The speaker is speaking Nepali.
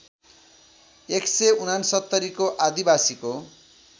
१६९ को आदिवासीको